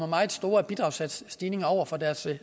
meget store bidragssatsstigninger over for deres